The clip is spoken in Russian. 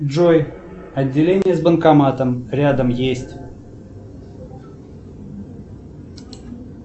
джой отделение с банкоматом рядом есть